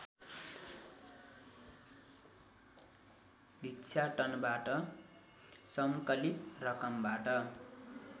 भिक्षाटनबाट सङ्कलित रकमबाट